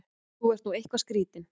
Þú ert nú eitthvað skrýtinn!